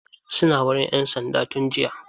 Suna wurin 'yan sands tun jiya.